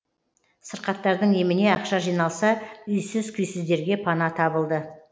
сырқаттардың еміне ақша жиналса үйсіз күйсіздерге пана табылды